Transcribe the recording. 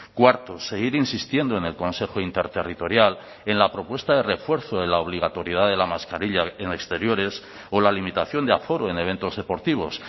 cuarto seguir insistiendo en el consejo interterritorial en la propuesta de refuerzo de la obligatoriedad de la mascarilla en exteriores o la limitación de aforo en eventos deportivos